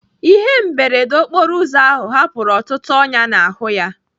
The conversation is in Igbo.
Ihe mberede okporo ụzọ ahụ hapụrụ ọtụtụ ọnyá n'ahụ ya.